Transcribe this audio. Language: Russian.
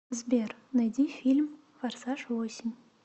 сбер найди фильм форсаж восемь